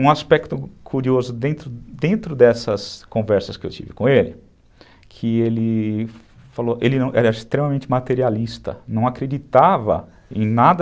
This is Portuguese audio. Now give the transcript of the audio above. Um aspecto curioso dentro dentro dessas conversas que eu tive com ele, que ele falou, ele era extremamente materialista, não acreditava em nada